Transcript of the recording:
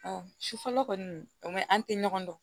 Ɔ sufɛla kɔni o an tɛ ɲɔgɔn dɔn